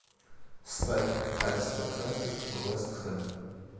ставь аристократы вест хэм